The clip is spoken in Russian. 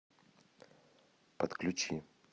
подключи